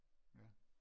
Ja